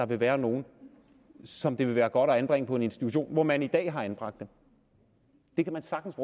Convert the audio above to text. vil være nogle som det vil være godt at anbringe på en institution hvor man i dag har anbragt dem det kan man sagtens